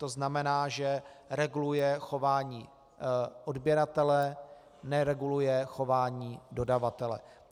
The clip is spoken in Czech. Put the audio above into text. To znamená, že reguluje chování odběratele, nereguluje chování dodavatele.